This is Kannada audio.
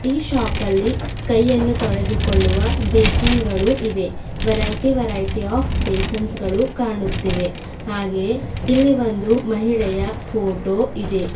ಈ ಶಾಪಲ್ಲಿ ಕೈಯನ್ನು ತೊಳೆದುಕೊಳ್ಳುವ ಬೇಸನ್ಗಳು ಇವೆ ವರೈಟಿ ವೆರೈಟಿ ಆಫ್ ಬೇಸನ್ಸ್ಗಳು ಕಾಣುತ್ತಿವೆ ಹಾಗೆ ಇಲ್ಲಿ ಒಂದು ಮಹಿಳೆಯ ಫೋಟೋ ಇದೆ.